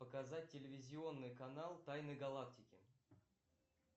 показать телевизионный канал тайны галактики